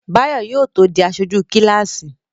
Báyọ̀ yóò tó di aṣojú kíláàsì